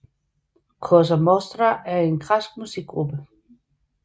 Koza Mostra er en græsk musikgruppe